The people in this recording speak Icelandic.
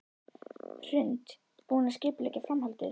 Hrund: Búinn að skipuleggja framhaldið?